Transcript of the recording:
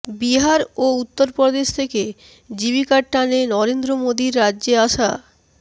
বিহার ও উত্তরপ্রদেশ থেকে জীবিকার টানে নরেন্দ্র মোদীর রাজ্যে আসা